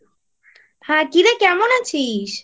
হ্যাঁ কিরে কেমন আছিস?